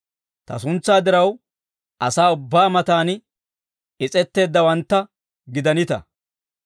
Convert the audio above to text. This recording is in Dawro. Ta suntsaa diraw asaa ubbaa matan is's'etteeddawantta gidanita.